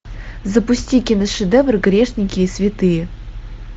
запусти киношедевр грешники и святые